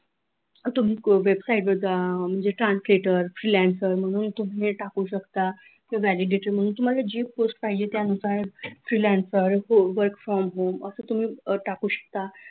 तुम्ही website वर जा म्हणजे translator freelancer म्हणून तुम्ही टाकु शकता केव्हा validator म्हणून तुम्हाला जी post पाहिजे त्यानुसार freelance work from home असं तुम्ही टाकु शकता